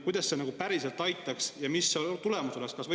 Kuidas see nagu päriselt aitaks ja mis see tulemus oleks?